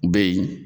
Be yen